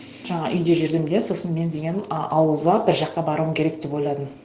жаңа үйде жүргенде сосын мен деген а ауылға бір жаққа баруым керек деп ойладым